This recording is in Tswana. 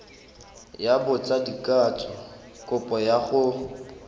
ya botsadikatsho kopo ya go